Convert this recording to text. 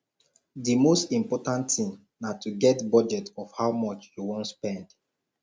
di most important thing na to get budget of how much you wan spend